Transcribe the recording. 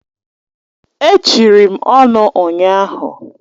E chiri m ọnụ ụnyahụ.